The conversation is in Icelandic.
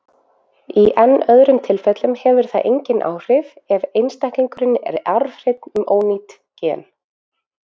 Í enn öðrum tilfellum hefur það engin áhrif ef einstaklingurinn er arfhreinn um ónýtt gen.